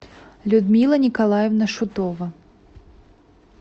людмила николаевна шутова